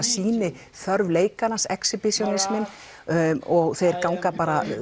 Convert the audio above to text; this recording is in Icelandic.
sýniþörf leikarans og þeir ganga